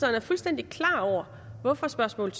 er fuldstændig klar over hvorfor spørgsmål